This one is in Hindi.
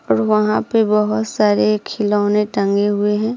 और वहाँ पे बहुत सारे खिलौने टंगे हुए हैं।